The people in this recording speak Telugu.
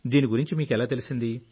దీని గురించి మీకెలా తెలిసింది